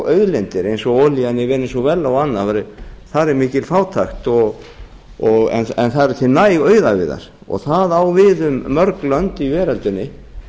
auðlindir eins og olíuna í venesúela og annað þar er mikil fátækt en það eru til næg auðæfi þar það á við um mörg